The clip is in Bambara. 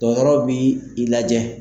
Dɔgɔtɔrɔw bi i lajɛ.